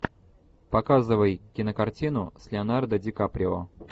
показывай кинокартину с леонардо ди каприо